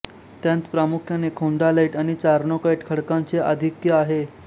त्यांत प्रामुख्याने खोंडालाइट आणि चार्नोकाइट खडकांचे आधिक्य आहे